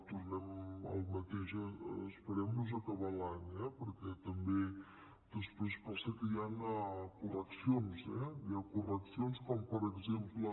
tornem al mateix esperem nos a acabar l’any eh perquè també després passa que hi han correccions eh hi ha correccions com per exemple